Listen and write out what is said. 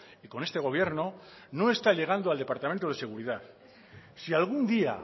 y con este gobierno no está llegando al departamento de seguridad si algún día